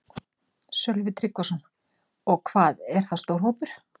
Sölvi Tryggvason: Og hvað er það stór hópur?